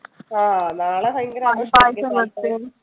ആഹ് നാളെ ഭയങ്കര ആഘോഷം